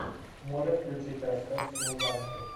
можешь включить рассказ служанки